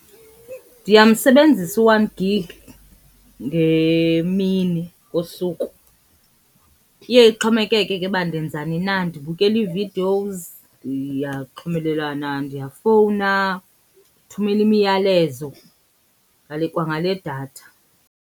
Ndiyamsebenzisa u-one gig ngemini ngosuku. Iye ixhomekeke ke uba ndenzani na ndibukela ii-videos, ndiyaxhumelelana, ndiyafowuna, ndithumela imiyalezo kwangale datha.